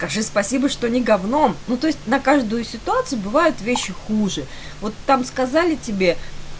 скажи спасибо что не гавном ну то есть на каждую ситуацию бывают вещи хуже вот там сказали тебе